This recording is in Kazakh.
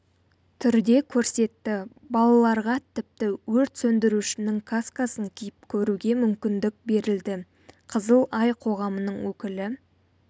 түрде көрсетті балаларға тіпті өрт сөндірушінің каскасын киіп көруге мүмкіндік берілді қызыл ай қоғамының өкілі